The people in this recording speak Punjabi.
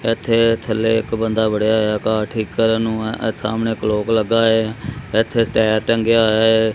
ਇਥੇ ਥੱਲੇ ਇੱਕ ਬੰਦਾ ਵੜਿਆ ਹੋਇਆ ਕਾਰ ਠੀਕ ਕਰਨ ਨੂੰ ਇਹ ਸਾਹਮਣੇ ਕਲੋਕ ਲੱਗਾ ਏ ਇੱਥੇ ਟੈਰ ਟੰਗਿਆ ਹੈ।